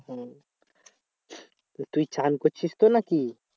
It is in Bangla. হম তুই চান করছিস তো নাকি?